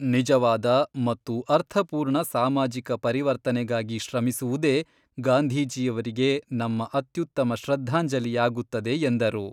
ನಿಜವಾದ ಮತ್ತು ಅರ್ಥಪೂರ್ಣ ಸಾಮಾಜಿಕ ಪರಿವರ್ತನೆಗಾಗಿ ಶ್ರಮಿಸುವುದೇ ಗಾಂಧಿಜೀಯವರಿಗೆ ನಮ್ಮ ಅತ್ಯುತ್ತಮ ಶ್ರದ್ಧಾಂಜಲಿಯಾಗುತ್ತದೆ ಎಂದರು.